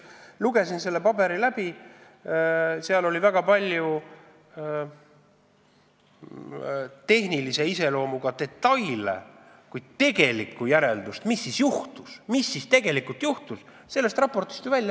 Lugesin selle raporti läbi, seal oli kirjas väga palju tehnilise iseloomuga detaile, kuid selgust, mis siis tegelikult juhtus, ei saanud.